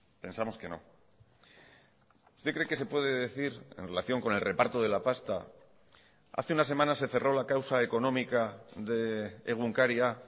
pensamos que no usted cree que se puede decir en relación con el reparto de la pasta hace unas semanas se cerró la causa económica de egunkaria